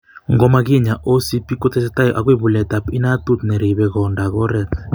Ngo ma kinya, OCP ko tesetai akoi buletab inatut ne ribe konda ak koret.